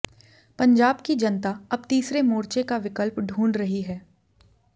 पंजाब की जनता अब तीसरे मोर्चे का विकल्प ढंूढ़ रही है